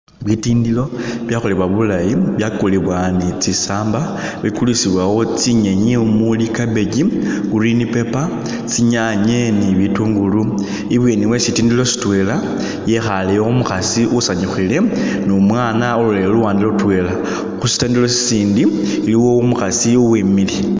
Bitindilo ibyekholebwa bulaayi byakulibwa ni tsisaamba bikulisibwawo tsinyenyi mumuli cabbage, green pepper, tsinyaanye ne bitungulu , i'bweni we sitindilo sitwela yekhaale yo umukhaasi usanyukhile ne umwana alolele luwande lutwela, khu sitindilo sisindi iliwo umukhaasi uwimile.